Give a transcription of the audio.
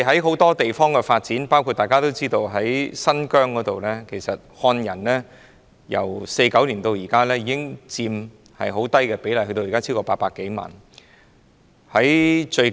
很多地方，包括大家所知的新疆，漢人人口由1949年原先佔很低的比例增加至現時超過800多萬人。